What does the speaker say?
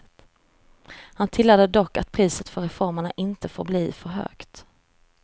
Han tillade dock att priset för reformerna inte får bli för högt.